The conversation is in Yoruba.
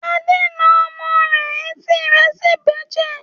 Ade ń na ọmọ rẹ̀ etí rẹ̀ sì ń bẹ́jẹ̀.